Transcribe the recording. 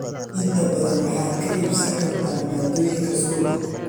Inta badan waxaad ka iibsan kartaa maaddooyinka suuqa.